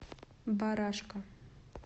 барашка